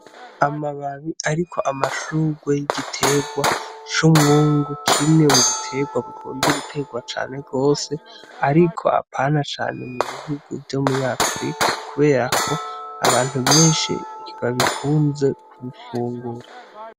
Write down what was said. Amababi ariko amashurwe y'igiterwa c'umwungu kimwe m'ubiterwa bikunzwe guterwa cane gose ariko apana cane m'ubihugu vyo muri Africa kubera ko abantu beshi ntibabikunze kubifungura.